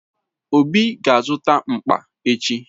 Obi ga-azụta mkpa echi.